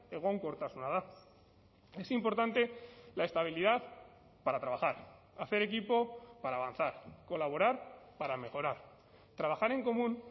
egonkortasuna da es importante la estabilidad para trabajar hacer equipo para avanzar colaborar para mejorar trabajar en común